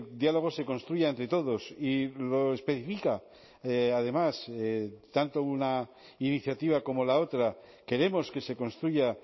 diálogo se construya entre todos y lo especifica además tanto una iniciativa como la otra queremos que se construya